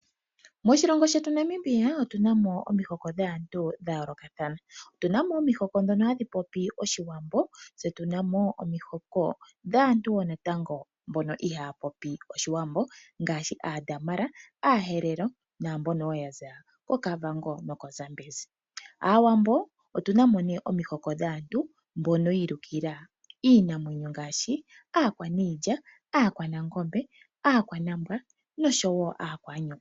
Moshilongo shetu Namibia otuna mo omihoko dhaantu dha yoolokathana. Otuna mo omihoko ndhono hadhi popi Oshiwambo, tse tuna mo omihoko dhaantu woo natango mbono ihaa popi Oshiwambo ngaashi Aadamara Aaherero naambono wo ya za koKavango nokoZambezi. Aawambo otuna mo nee omihoko dhaantu mbono yi ilukila iinamwenyo ngaashi aakwaniilya, aakwanangombe, aakwanambwa nosho wo aakwaanyoka.